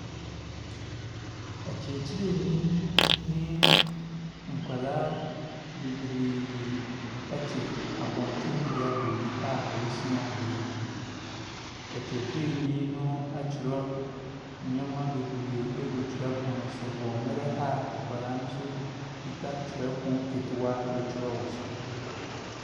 Ɔkyerɛkyerɛni ne nkwadaa bebree te abɔnten bea baabi a wɔresua adeɛ. Ɔkyerɛkyerɛni no atwerɛ nneɛma bebree agu twerɛpono no so wɔ mmerɛ a nkwadaa no nso kuta twerɛpono ketewa retwerɛ wɔ so.